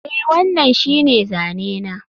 Eh, wannan shine zane na